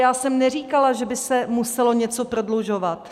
Já jsem neříkala, že by se muselo něco prodlužovat.